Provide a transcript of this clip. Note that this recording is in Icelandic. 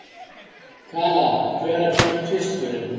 Kala, hvenær kemur tvisturinn?